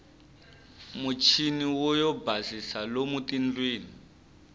muchiniwo yo basisa lomu tindlwini